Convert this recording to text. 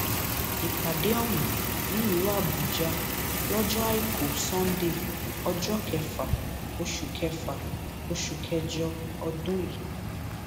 ìpàdé ọhún nílùú àbújá lọjọ àìkú sannde ọjọ kẹfà oṣù kẹfà oṣù kẹjọ ọdún yìí